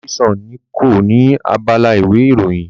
Daily Sun ni kọ ni abala ìwé ìròyìn.